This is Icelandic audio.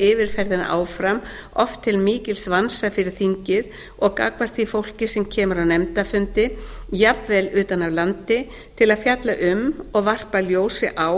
yfirferðina áfram oft til mikils vansa fyrir þingið og gagnvart því fólki sem kemur á nefndarfundi jafnvel utan af landi til að fjalla um og varpa ljósi á